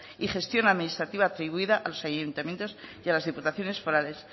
y gestión administrativa atribuida a los ayuntamientos y las diputaciones forales